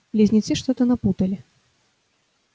близнецы что-то напутали